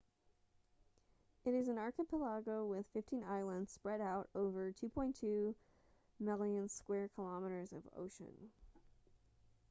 it is an archipelago with 15 islands spread out over 2.2 million km2 of ocean